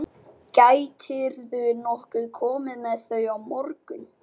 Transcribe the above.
Gætirðu nokkuð komið með þau á morgun?